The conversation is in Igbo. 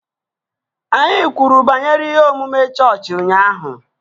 Anyị kwuru banyere ihe omume chọọchị ụnyaahụ